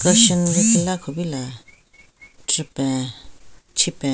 Causion lekhila kupila chupen chipen.